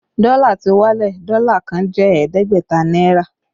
Dọ́là ti wálẹ̀, Dọ́là kan jẹ́ ẹ̀ẹ́dẹ́gbẹ̀ta náírà